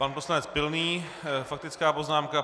Pan poslanec Pilný, faktická poznámka.